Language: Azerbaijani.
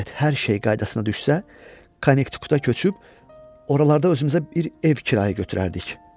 Şayət hər şey qaydasına düşsə, Konnektikutda köçüb oralarda özümüzə bir ev kirayə götürərdik.